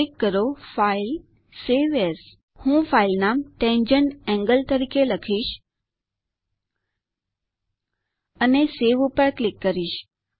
click કરો ફાઇલેગ્ટગટ save as હું ફાઈલ નામ tangent એન્ગલ તરીકે લખીશ અને સવે ઉપર ક્લિક કરીશ